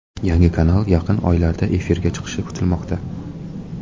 Yangi kanal yaqin oylarda efirga chiqishi kutilmoqda.